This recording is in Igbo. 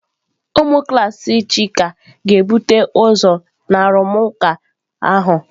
Ụmụ klas Chika ga-ebute ụzọ na arụmụka ahụ.